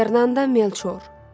Fernanda Melçor.